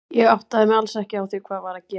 Ég áttaði mig alls ekki á því hvað var að gerast.